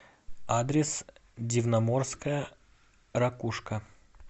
адрес дивноморская ракушка